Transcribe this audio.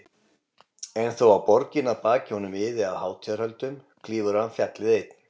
En þó að borgin að baki honum iði af hátíðarhöldum klífur hann fjallið, einn.